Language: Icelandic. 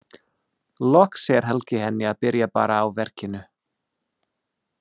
Loks segir Helgi henni að byrja bara á verkinu.